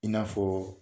I n'a fɔ